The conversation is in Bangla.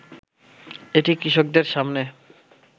এটি কৃষকদের সামনে